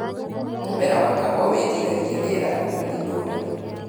Mũmera wa kahũa wĩtiragia rĩera ngũrani ngũrani.